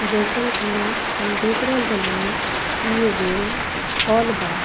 जईसन की हम देख रहल बानी इ एगो हॉल बा।